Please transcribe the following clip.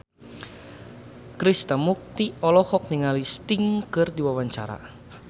Krishna Mukti olohok ningali Sting keur diwawancara